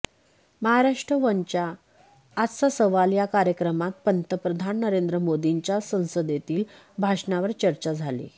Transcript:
महाराष्ट्र वनच्या आजचा सवाल या कार्यक्रमात पंतप्रधान नरेंद्र मोदींच्या संसदेतील भाषणावर चर्चा झाली